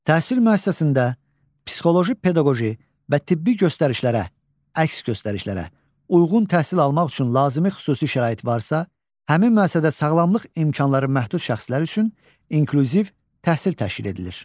Təhsil müəssisəsində psixoloji pedaqoji və tibbi göstərişlərə, əks göstərişlərə uyğun təhsil almaq üçün lazımi xüsusi şərait varsa, həmin müəssisədə sağlamlıq imkanları məhdud şəxslər üçün inklüziv təhsil təşkil edilir.